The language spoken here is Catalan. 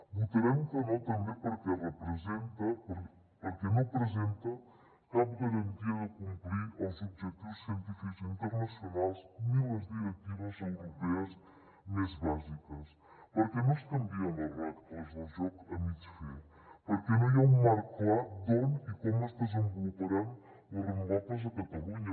votarem que no també perquè no presenta cap garantia de complir els objectius científics internacionals ni les directives europees més bàsiques perquè no es canvien les regles del joc a mig fer perquè no hi ha un marc clar d’on i com es desenvoluparan les renovables a catalunya